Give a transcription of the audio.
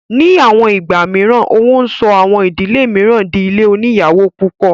Ní àwọn ìgbà mìíràn, owó ń sọ àwọn ìdílé mìíràn dí ilé oníyàwó púpọ̀